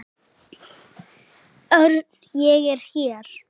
Örn, ég er hér